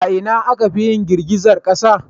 A ina akafi yin girgizar kasa?